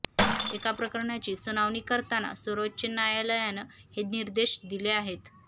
एका प्रकरणाची सुनावणी करताना सर्वोच्च न्यायालयानं हे निर्देश दिले आहेत